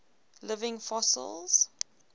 living fossils